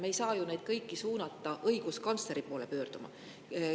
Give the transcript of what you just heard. Me ei saa ju neid kõiki suunata õiguskantsleri poole pöörduma.